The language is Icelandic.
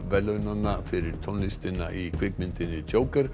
verðlaunanna fyrir tónlistina í kvikmyndinni